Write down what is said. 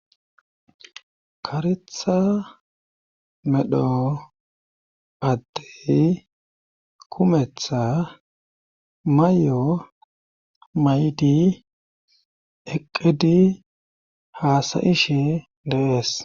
karetha medho paddey kumetha may'o may'di eqqedi haasayish dees.